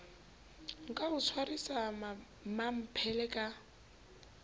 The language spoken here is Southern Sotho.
ka o tshwarisa mmamphele ka